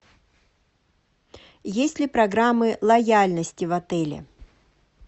есть ли программы лояльности в отеле